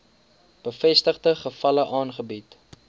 bevestigde gevalle aangebied